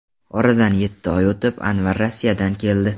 Oradan yetti oy o‘tib, Anvar Rossiyadan keldi.